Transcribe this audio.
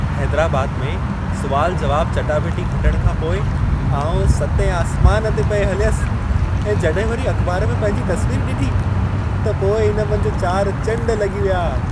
हैदराबाद में सुवाल-जवाब चटाभेटी खटण खां पोइ आउं सतें आसमान ते पिए हलियसि ऐं जॾहिं वरी अख़बार में पंहिंजी तस्वीर ॾिठी, त पोइ इन मंझि चारि चंड लॻी विया।